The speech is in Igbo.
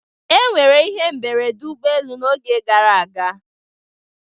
E nwere ihe mberede ụgbọ elu n'oge gara aga.